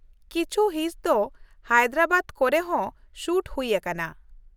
ᱠᱤᱪᱷᱩ ᱦᱤᱸᱥ ᱫᱚ ᱦᱟᱭᱫᱨᱟᱵᱟᱫ ᱠᱚᱨᱮ ᱦᱚᱸ ᱥᱩᱴ ᱦᱩᱭ ᱟᱠᱟᱱᱟ ᱾